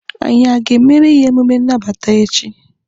Anyị aga emere ya emume nnabata echi?